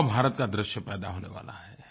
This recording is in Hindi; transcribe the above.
युवा भारत का दृश्य पैदा होने वाला है